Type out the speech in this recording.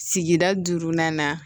Sigida duurunan na